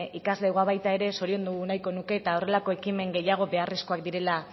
ikaslegoa baita ere zoriondu nahiko nuke eta horrelako ekimen gehiago beharrezkoak direla